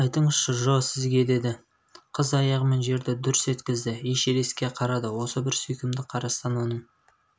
айтыңызшы джо сізге деді қыз аяғымен жерді дүрс еткізді эшерестке қарады осы бір сүйкімді қарастан оның